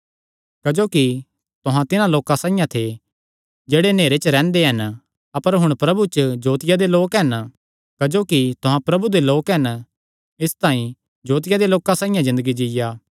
क्जोकि तुहां तिन्हां लोकां साइआं थे जेह्ड़े नेहरे च रैंह्दे हन अपर हुण प्रभु च जोतिया दे लोक हन क्जोकि तुहां प्रभु दे लोक हन इसतांई जोतिया दे लोकां साइआं ज़िन्दगी जीआ